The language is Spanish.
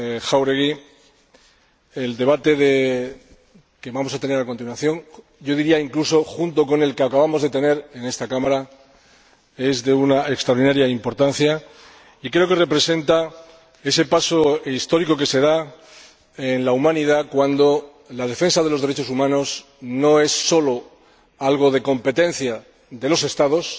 Jáuregui, el debate que vamos a tener a continuación —junto con el que acabamos de tener en esta Cámara— es de una extraordinaria importancia y creo que representa ese paso histórico que se da en la humanidad cuando la defensa de los derechos humanos no es solo algo competencia de los Estados